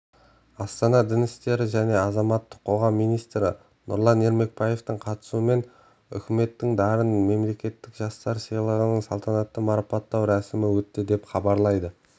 астанада дін істері және азаматтық қоғам министрі нұрлан ермекбаевтың қатысуымен үкіметінің дарын мемлекеттік жастар сыйлығын салтанатты марапаттау рәсімі өтті деп хабарлайды